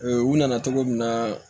u nana cogo min na